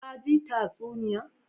Ka ji tatsuniya.